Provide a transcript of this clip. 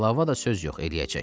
Qlava da söz yox eləyəcək.